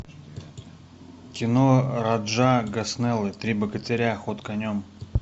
кино раджа гаснеллы три богатыря ход конем